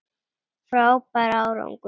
Frábær árangur